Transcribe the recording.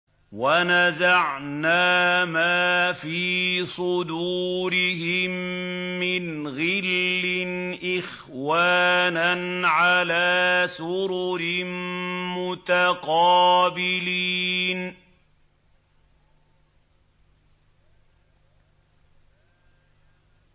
وَنَزَعْنَا مَا فِي صُدُورِهِم مِّنْ غِلٍّ إِخْوَانًا عَلَىٰ سُرُرٍ مُّتَقَابِلِينَ